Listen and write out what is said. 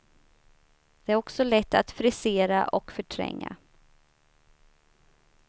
Det är också lätt att frisera och förtränga.